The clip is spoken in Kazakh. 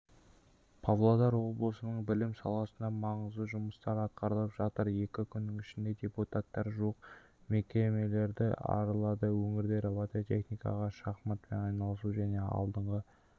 павлодар облысының білім саласында маңызды жұмыстар атқарылып жатыр екі күннің ішінде депутаттар жуық мектептерді аралады өңірде робототехникаға шахматпен айналысу және алдыңғы